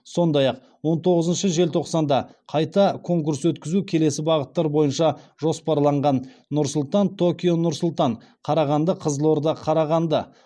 сондай ақ он тоғызыншы желтоқсанда қайта конкурс өткізу келесі бағыттар бойынша жоспарланған нұр сұлтан токио нұр сұлтан қарағанды қызылорда қарағанды